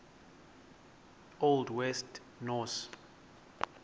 old west norse